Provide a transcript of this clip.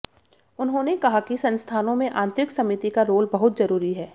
उन्होंने कहा कि संस्थानों में आंतरिक समिति का रोल बहुत जरूरी है